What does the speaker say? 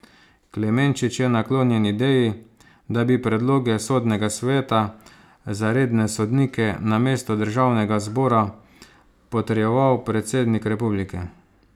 Klemenčič je naklonjen ideji, da bi predloge sodnega sveta za redne sodnike namesto državnega zbora potrjeval predsednik republike.